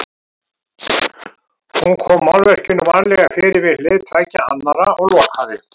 Hún kom málverkinu varlega fyrir við hlið tveggja annarra og lokaði.